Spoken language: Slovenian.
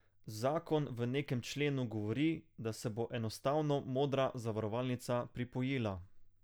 Zakon v nekem členu govori, da se bo enostavno Modra zavarovalnica pripojila.